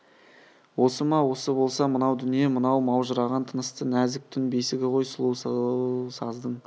осы ма осы болса мынау дүние мынау маужыраған тынысты нәзік түн бесігі ғой сол сұлу саздың